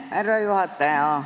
Härra juhataja!